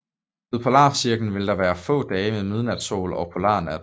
Ved polarcirklen vil der være få dage med midnatssol og polarnat